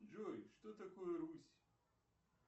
джой что такое русь